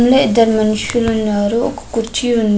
ఇందులో ఇద్దరు మనషులు ఉన్నారు ఒక కుర్చీ వుంది.